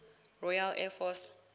royal air force